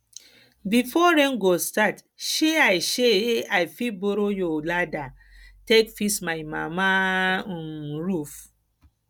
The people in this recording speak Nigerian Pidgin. before rain go start shey i shey i fit borrow your ladder take fix my mama um roof